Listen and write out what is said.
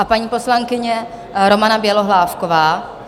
A paní poslankyně Romana Bělohlávková.